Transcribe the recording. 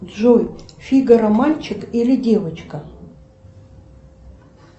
джой фигаро мальчик или девочка